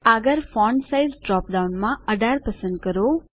આગળ font size drop ડાઉનમાં 18 પસંદ કરો